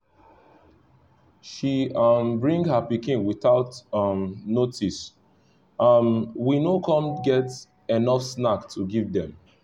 she um bring her pikin without um notice um we no com get enough snacks to give them